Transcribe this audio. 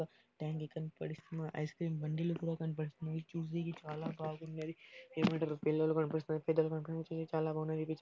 టాంకి కనపడిస్తున్నది. పిల్లలు కనిపిస్తున్నారు. ఐస్ క్రీమ్ బండిలు కూడా కనిపడిస్తుంది. చూడనీకి చాలా బాగున్నది. ఏమంటారు పిల్లలు కనిపిస్తున్నారు. పెద్దలు కనిపిస్తున్నారు. ఇది చాలా.